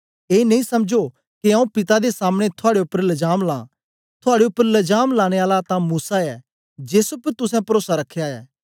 ए नेई समझो के आऊँ पिता दे सामने थुआड़े उपर लजाम ला थुआड़े उपर लजाम लाने आला तां मूसा ऐ जेस उपर तुसें परोसा रखया ऐ